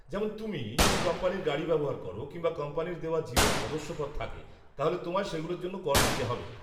যেমন, তুমি যদি কোম্পানির গাড়ি ব্যবহার করো, কিংবা কোম্পানির দেওয়া জিমের সদস্যপদ থাকে, তাহলে তোমায় সেগুলোর জন্য কর দিতে হবে।